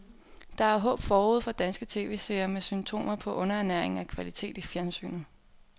Der er håb forude for danske tv-seere med symptomer på underernæring af kvalitet i fjernsynet.